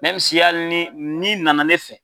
hali ni n'i nana ne fɛ.